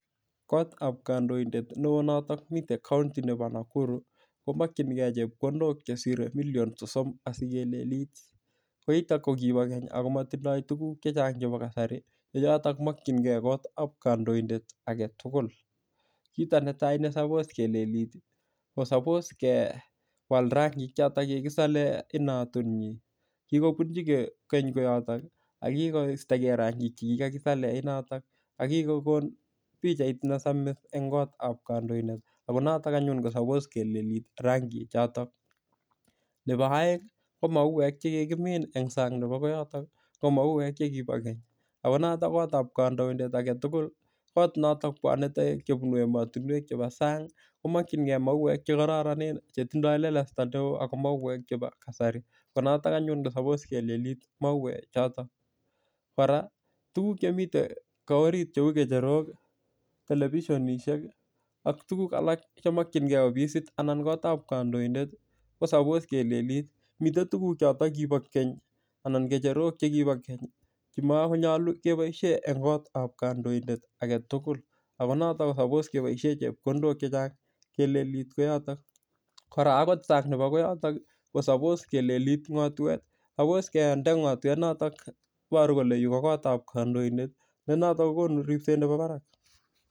Kot ab kandoindet neo notok mite kaunti nepo Nakuru komakchingei chepkondok Cheshire million sosom asikelelit ko yutok kokipakeny amatindoy tuguk chechang' chepo kasari ko yotok komakchingei kot ab kandoindet agetugul kito netai nesapos kelelit kosapos kewal rangik chotok kigisale inatuni kigopunjike keny koyotok akigoistogei rangik chekigasale inatnotok akigokon pikchait nesamis eng' kot ab kandoindet ako noton anyun nesapos kelelit rangik chotok, nepo aeng' ko mauwek chekigimin eng' sang' nepo koyotok ko mauwek chekipo keny akonotok kot ab kandoindet agetugul kot notok pwani taoek kopun ematinwek chepo sang' komakchingei mauwek chekaroronen chetindoy lelosto ak mauwek chepo kasari ko noton anyun nesapos kelelit mauwek chotok koraa tuguk chemiten kot orit cheu kecherok, televisionisiek ak tuguk alak chemakchingei ofisit anan kot ab kandoindet kosapos kelelit, mite tuguk chotok kipokeny anan kecherok chekipo keny chemakonyalu chepoishe eng' kot ab kandoindet agetugul akonotok kosapos kepoishe chepkondok chechang' kelelit koyotok koraa akot sang' nepo koyotok kosapos kelelit ng'otwek sapos kende ng'otwek notok neiporu kole yu ko kot ab kandoindet nenotok kogonu ripset nepo barak.